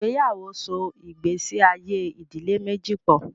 Ìgbéyàwó so ìgbésí ayé ìdílé méjì pọ̀.